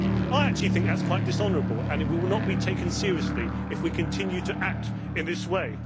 I actually think that is quite dishonourable and we will not be taken seriously if we continue to act in this way.